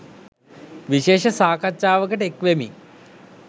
විශේෂ සාකච්ඡාවකට එක් වෙමින්